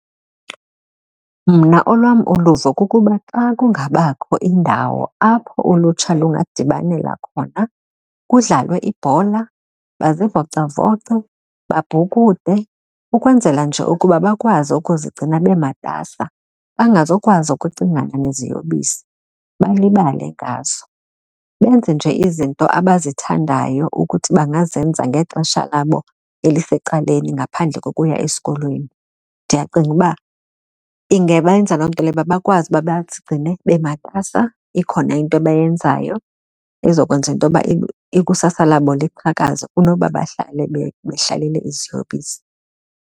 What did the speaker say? Mna olwam uluvo kukuba xa kungabakho indawo apho ulutsha lungadibanela khona kudlalwe ibhola, bazivocavoce, babhukude ukwenzela nje ukuba bakwazi ukuzigcina bematasa bengazukwazi ukucingana neziyobisi balibale ngazo. Benze nje izinto abazithandayo ukuthi bangazenza ngexesha labo elisecaleni ngaphandle kokuya esikolweni. Ndiyacinga uba ingabenza loo nto leyo uba bakwazi ukuba bazigcine bamatasa ikhona into abayenzayo ezokwenza intoba ikusasa labo liqhakazile kunoba bahlale behlalele iziyobisi.